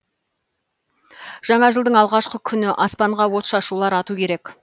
жаңа жылдың алғашқы күні аспанға отшашулар ату керек